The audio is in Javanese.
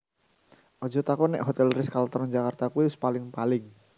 Ojo takon nek Hotel Ritz Carlton Jakarta kui wis paling paling